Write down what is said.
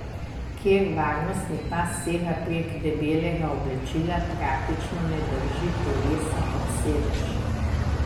Ker varnostni pas sega prek debelega oblačila, praktično ne drži telesa ob sedež.